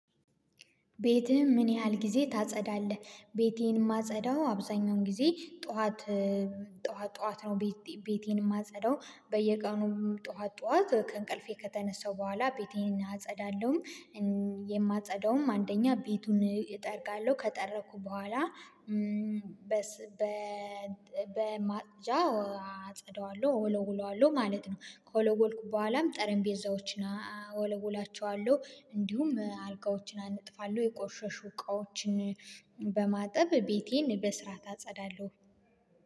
ቤትህን ምን ያህል ጊዜ ታጸዳለህ? ቤቴን የማጸዳው አብዛኛውን ጊዜ ጠዋት ጠዋት ጠዋት ነው ቤቴን የማጸዳው በየቀኑ ጠዋት ጠዋት ከእንቅልፌ ከተነሳው በኋላ ቤቴን አጸዳለሁ። የማፀዳውም አንደኛ ቤቱን እጠርጋለሁ ከጠረኩ በኋላ። በማፅጃ አጸደዋለሁ ወለውለዋለሁ ማለት ነው። ከወለወልኩም በኋላም ጠረፔዛዎችን እወለውላቸዋለሁ እንዲሁም አልጋዎችን አነጥፋለሁ የቆሸሹ እቃዎችን በማጠብ ቤቴን በስርዓት እጸዳለሁ።